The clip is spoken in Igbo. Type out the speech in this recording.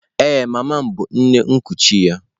Ee, mama m bụ nne nkuchi ya.